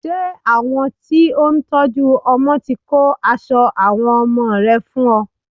Ṣé àwọn tí ó ń tọ́jú ọmọ ti kó aṣọ àwọn ọmọ rẹ fún ọ?